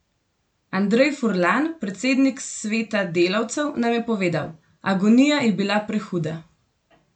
Andrej Furlan, predsednik Sveta delavcev, nam je povedal: "Agonija je bila prehuda.